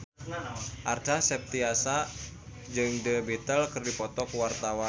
Acha Septriasa jeung The Beatles keur dipoto ku wartawan